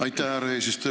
Aitäh, härra eesistuja!